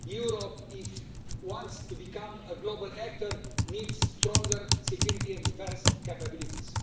Europe, if it wants to become a global actor, needs stronger security and defence capabilities.